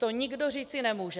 To nikdo říci nemůže.